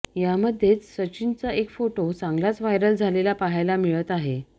यामध्येच सचिनचा एक फोटो चांगलाच व्हायरल झालेला पाहायला मिळत आहे